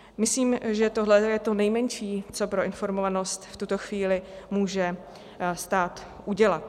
Myslím, že tohle je to nejmenší, co pro informovanost v tuto chvíli může stát udělat.